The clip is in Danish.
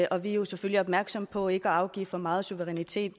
og vi er jo selvfølgelig opmærksomme på ikke at afgive for meget suverænitet